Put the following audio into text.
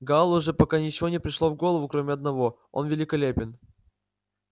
гаалу же пока ничего не пришло в голову кроме одного он великолепен